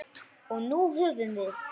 Og nú höfum við